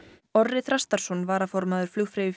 Orri Þrastarson varaformaður